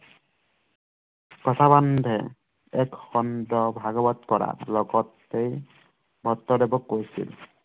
লগতে ভট্টদেৱক কৈছিল